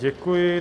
Děkuji.